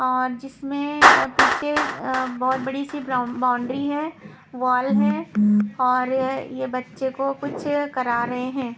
और जिसमें अ पीछे अ बहुत बड़ी सी ब्राउ बाउंड्री है वॉल है और ये ये बच्चे को कुछ करा रहे हैं।